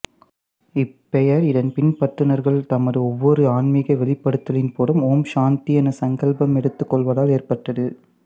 இப்பெயர் இதன் பின்பற்றுனர்கள் தமது ஒவ்வொரு ஆன்மீக வெளிப்படுத்தலின் போதும் ஓம் சாந்தி என சங்கல்பம் எடுத்துக் கொள்வதால் ஏற்பட்டது